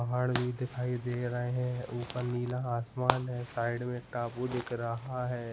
पहाड़ भी दिखाई दे रहे हैं ऊपर नीला आसमान है साइड में एक तभू देख रहा है।